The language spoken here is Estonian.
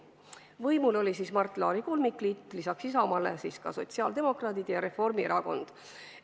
Võimul oli siis Mart Laari kolmikliit, lisaks Isamaale olid võimul ka sotsiaaldemokraadid ja Reformierakond.